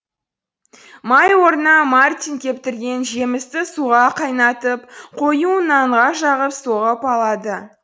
май орнына мартин кептірген жемісті суға қайнатып қоюын нанға жағып соғып алады